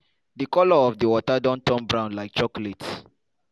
di colour of di water don turn brown like chocolate.